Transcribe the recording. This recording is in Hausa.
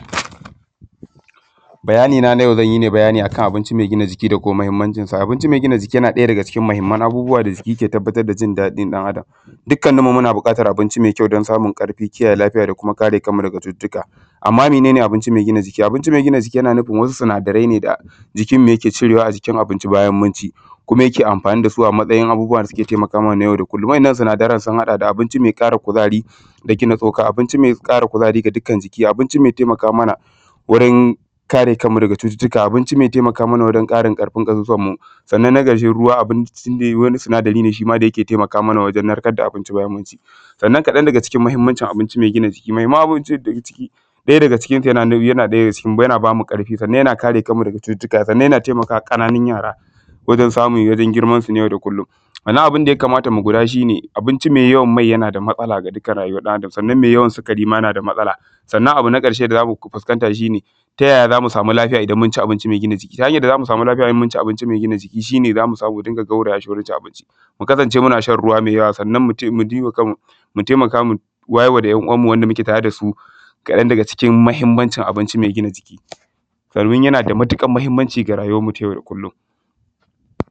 bayanina na yau zan yi ne bayani ne kan abinci mai gina jiki da kuma muhimmancinsa abinci mai gina jiki yana ɗaya daga cikin muhimman abubuwa da suke tabbatar da jin daɗin ɗan adam dukkanninmu muna buƙatar abinci mai kyau don samun ƙarfi kiyaye lafiya da kuma kare kanmu daga cututtuka amma mene ne abinci mai gina jiki abinci mai gina jiki yana nufin wasu sinadarai ne da jikinmu yake cirewa a jikin abinci bayan mun ci kuma yake amfani da su a matsayin abubuwa da suke taimaka mana na yau da kullum waɗannan sinadaran sun haɗa da abinci mai ƙara kuzari da gina tsoka abinci mai ƙara kuzari ga dukkan jiki abinci mai taimaka mana wurin kanmu daga cututtukakare abinci mai mai taimaka mana wurin kara ƙarfin ƙasusuwanmu sannan na ƙarshe ruwa abinci ne wani sinadari ne shi ma da yake taimaka mana wajen narkar da abinci bayan mun ci sannan kaɗan daga cikin muhimmancin abinci mai gina jiki muhimmancin abinci mai gina jiki ɗaya daga cikinsu yana ba mu ƙarfi sannan yana kare mu daga cututtuka sannan yana taimaka wa ƙananun yara wajen samun girmansu na yau da kullum sannan abin da ya kamata mu guda shi ne abinci mai yawan mai yana da matsala ga dukkan rayuwar ɗan adam sannan mai yawan sikari ma na da matsala sannan abu na ƙarshe da za mu fuskanta shi ne ta yaya za mu samu lafiya idan mun ci abinci mai gina jiki ta hanyar da za mu samu lafiya idan mun ci abinci mai gina jiki shi ne za mu samu mu dinga gauraya shi wurin cin abinci mu kasance muna shan ruwa mai yawa sannan mu taimaka mu wayar wa da ‘yan uwanmu da muke tare da su kaɗan daga c ikin muhimmancin gina jiki domin yana da matuƙar muhimmanci ga rayuwarmu ta yau da kullum